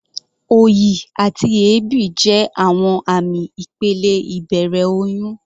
Òyì àti èébì jẹ́ àwọn àmì ìpele ìbẹ̀rẹ̀ oyún.